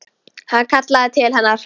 Hann kallaði til hennar.